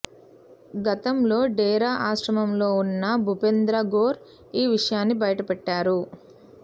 గతంతో డేరా ఆశ్రమంలో ఉన్న భూపేంద్ర గోర్ ఈ విషయాన్ని బయటపెట్టారు